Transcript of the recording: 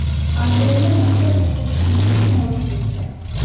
Angrenda maktab o‘quvchisini mashina urib ketdi.